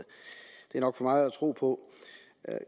er nok for meget at tro på